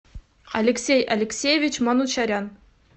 алексей алексеевич манучарян